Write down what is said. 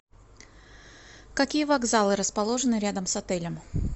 какие вокзалы расположены рядом с отелем